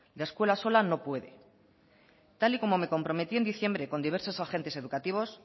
la escuela sola no puede tal y como me comprometí en diciembre con diversos agentes educativos